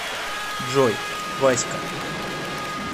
джой вась ка